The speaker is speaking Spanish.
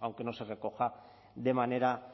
aunque no se recoja de manera